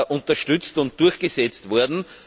unterstützt und durchgesetzt wurde.